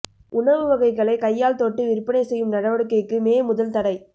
உணவு வகைகளை கையால் தொட்டு விற்பனை செய்யும் நடவடிக்கைக்கு மே முதல் தடை